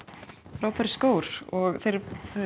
frábærir skór þeir